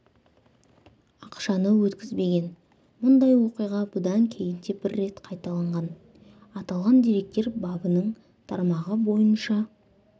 ақшаны өткізбеген мұндай оқиға бұдан кейін де бір рет қайталанған аталған деректер бабының тармағы бойынша